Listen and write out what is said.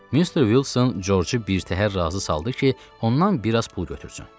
Mister Wilson Corcu birtəhər razı saldı ki, ondan bir az pul götürsün.